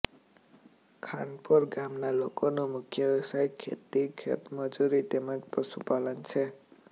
ખાનપોર ગામના લોકોનો મુખ્ય વ્યવસાય ખેતી ખેતમજૂરી તેમ જ પશુપાલન છે